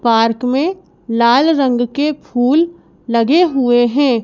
Park में लाल रंग के फूल लगे हुए हैं।